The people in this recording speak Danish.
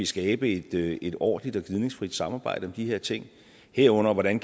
skabe et ordentligt og gnidningsfrit samarbejde om de her ting herunder hvordan